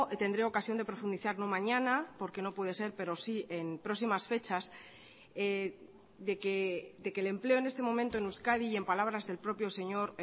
tendré ocasión de profundizar no mañana porque no puede ser pero sí en próximas fechas de que el empleo en este momento en euskadi y en palabras del propio señor